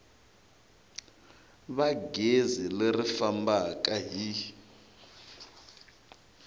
va gezi leri fambaka hi